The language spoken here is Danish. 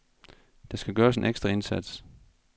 Der skal gøres en ekstra indsats.